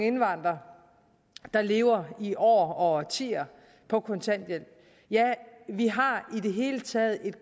indvandrere der lever i år og årtier på kontanthjælp ja vi har i det hele taget et